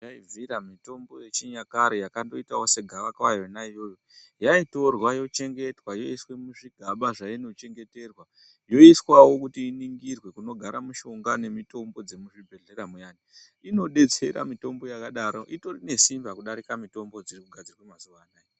Dai zvaibvira mitombo yechinyakare yakandoitawo segavakava yonaiyoyo yaitorwa yochengetwa yoiswe muzvigaba meinochengeterwa yoiswawo kuti iningirwe kunogara mishonga nemitombo dzemuzvibhedhlera muyani. Inodetsera mitombo yakadaro, itori nesimba kudarika mitombo dzirikugadzirwa mazuva anaya.